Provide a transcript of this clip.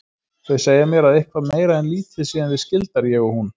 Þau segja mér að eitthvað meira en lítið séum við skyldar ég og hún.